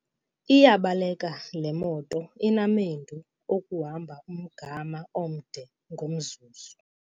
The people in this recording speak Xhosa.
Iyabaleka le moto inamendu okuhamba umgama omde ngomzuzu.